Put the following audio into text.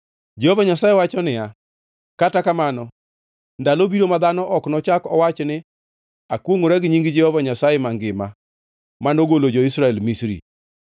Jehova Nyasaye owacho niya, “Kata kamano, ndalo biro, ma dhano ok nochak owachi ni, ‘Akwongʼora gi nying Jehova Nyasaye mangima, manogolo jo-Israel Misri,’